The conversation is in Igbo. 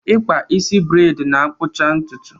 Ịkpa isi breid na-akpụcha ntụtụ